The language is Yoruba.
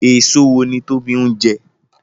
Èso wo ni Tobi ń jẹ?